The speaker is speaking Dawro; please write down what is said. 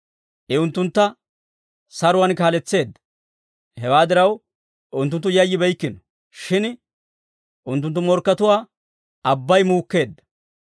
I unttuntta saruwaan kaaletseedda; hewaa diraw, unttunttu yayyibeykkino; shin unttunttu morkkatuwaa abbay muukkeedda.